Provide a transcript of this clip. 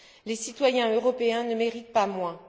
Les citoyens européens ne méritent pas moins.